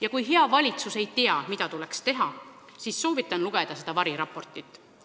Ja kui hea valitsus ei tea, mida tuleks teha, siis soovitan lugeda seda variraportit.